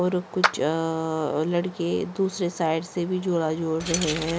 और कुछ अ लड़के दूसरे साइड से भी झोला झूल रहे हैं।